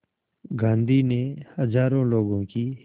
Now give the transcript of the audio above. गांधी ने हज़ारों लोगों की